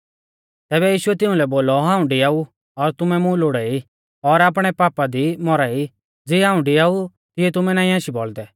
तैबै यीशुऐ तिउंलै बोलौ हाऊं डिआऊ और तुमै मुं लोड़ाई और आपणै पापा दी मौरा ई ज़िऐ हाऊं डिआऊ तिऐ तुमै नाईं आशी बौल़दै